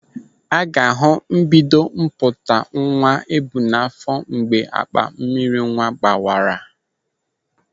A ga-ahụ mbido mpụta nwa ebu n'áfọ̀ mgbe akpa mmiri nwa gbawara.